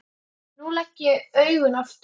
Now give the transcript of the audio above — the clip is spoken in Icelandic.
Nú legg ég augun aftur.